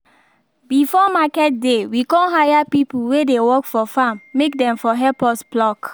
before market day we con hire people wey dey work for farm may dem for help us pluck